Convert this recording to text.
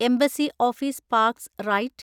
embassy office parks right